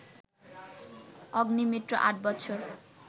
অগ্নিমিত্র আট বছর